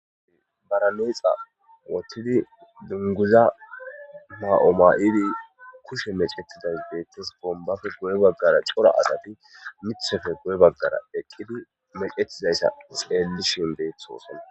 baraneexa wotidi dunguza ha7omayidi kushe mecetidas beettes bombafe guye baggara cora asati mithofe guye baggara eqqidi mecettidayssa xeelli shin deethoosana